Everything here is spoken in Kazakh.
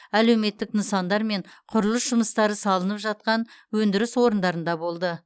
әлеуметтік нысандар мен құрылыс жұмыстары салынып жатқан өндіріс орындарында болды